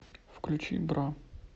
включи бра